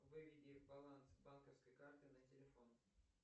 выведи баланс банковской карты на телефон